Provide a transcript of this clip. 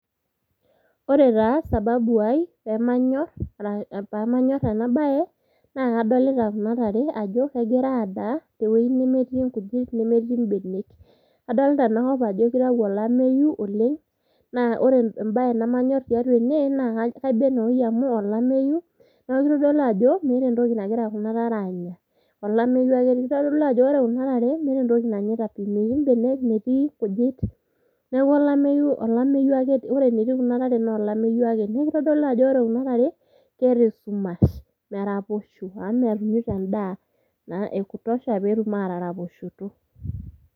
ore taa sababu ai pamanyorr ena baye naa kadolita kuna tare ajo kegira adaa tewueji nemetii inkujit nemetii imbenek adolita enakop ajo kitau olemeyu oleng naa ore embaye nemanyorr tiatua ene naa kaiba enewoi amu olameyu neeku kitodolu ajo meeta entoki nagira kuna tare aanya olameyu ake kitodolu ajo ore kuna tare meeta entoki nanyaita pii metii imbenek metii inkujit neeku olameyu ake, ore enetii kuna tare naa olameyu ake nekitodolu ajo wore kuna tare keeta esumash meraposho amu metumito endaa naa ekutosha petum ataraposhoto.